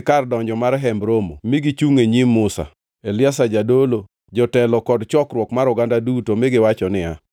kar donjo mar Hemb Romo mi gichungʼ e nyim Musa, Eliazar jadolo, jotelo kod chokruok mar oganda duto, mi giwacho niya,